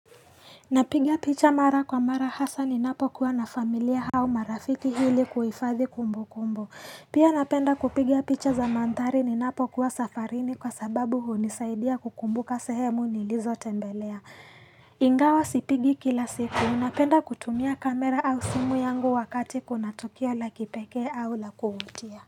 Napiga picha mara kwa mara hasa ninapokuwa na familia au marafiki hili kuhifadhi kumbu kumbu. Pia napenda kupiga picha za manthari ninapo kuwa safarini kwa sababu hunisaidia kukumbuka sehemu nilizo tembelea. Ingawa sipigi kila siku. Napenda kutumia kamera au simu yangu wakati kuna tukio la kipekee au la kuvutia.